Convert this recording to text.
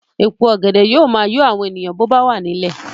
Èpo ọ̀gẹ̀dẹ̀ yóò máa yọ àwọn èèyàn bó bá wà nílẹ̀